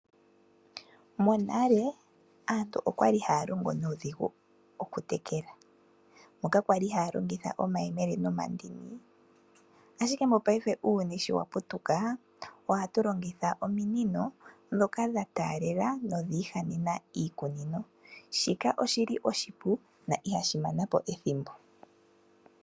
Monale, aantu oyali haya longo nuudhigu okutekela, moka yali haya longitha omayemele nomandini, ashike mopaife uuyuni shi wa putuka ohatu longitha ominino ndhoka dha taandela nodhi ihanena oshikunino. Shika oshipu na ihashi mana po ethimbo.